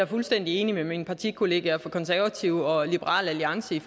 fuldstændig enig med mine kolleger fra de konservative og liberal alliance i